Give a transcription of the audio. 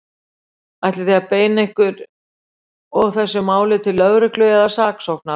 Ætlið þið að beina ykkar og þessu máli til lögreglu eða saksóknara?